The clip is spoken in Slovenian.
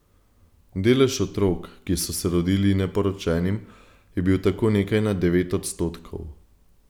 Delež otrok, ki so se rodili neporočenim, je bil tako nekaj nad devet odstotkov.